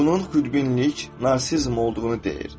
Bunun xudbinlik, narsizm olduğunu deyir.